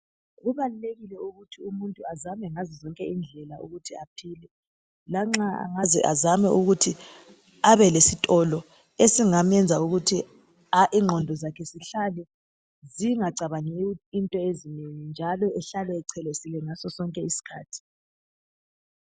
Kubalulekile ukuthi umuntu azame ngazozonke indlela ukuthi aphile lanxa angaze azame ukuthi abelesitolo esingamenza ukuthi ingqondo zakhe zihlale zingacabangi into ezinengi njalo ahlale echelesile ngaso sonke isikhathi.